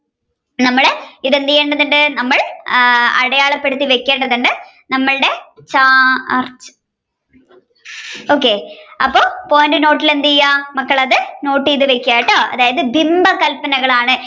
നമ്മൾ ഇത് എന്ത്‌ചെയ്യേണ്ടതുണ്ട് നമ്മൾ അടയാളപ്പെടുത്തിവെക്കേണ്ടതുണ്ട് നമ്മളുടെ okay അപ്പൊ point നോട്ടിൽ എന്ത് ചെയ്യുക മക്കൾ അത് note ചെയ്തു വെക്കുക കേട്ടോ അതായത് ബിംബകല്പനകളാണ്